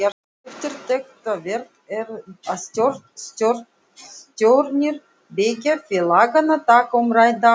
Eftirtektarvert er að stjórnir beggja félaganna taka umrædda ákvörðun.